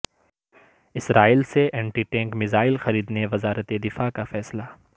اسرائیل سے anti tank missile خریدنے وزارت دفاع کا فیصلہ